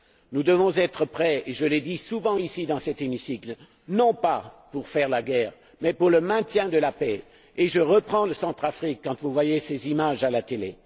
Nous devons être prêts je l'ai dit souvent ici, dans cet hémicycle non pas pour faire la guerre, mais pour le maintien de la paix. Et je reviens à la Centrafrique, quand vous voyez ces images à la télé...